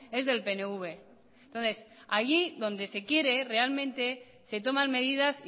es del pnv entonces allí donde se quiere realmente se toman medidas